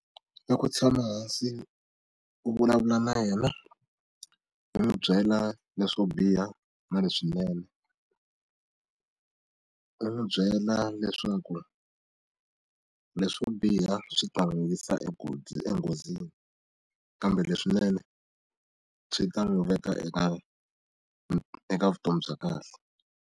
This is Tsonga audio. I ku tshama hansi u vulavula na yena hi n'wi byela leswo biha na leswinene ni n'wi byela leswaku leswo biha swi ta n'wi yisa enghozini kambe leswinene swi ta n'wi veka eka eka vutomi bya kahle.